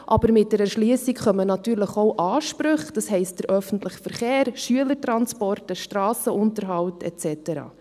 Aber mit der Erschliessung kommen natürlich auch Ansprüche, das heisst öffentlicher Verkehr, Schülertransporte, Strassenunterhalt und so weiter.